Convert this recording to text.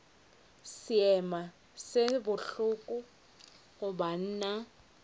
seema se bohloko go banna